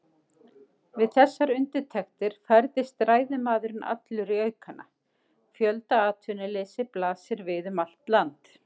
Við þessar undirtektir færðist ræðumaðurinn allur í aukana: Fjöldaatvinnuleysi blasir við um allt land.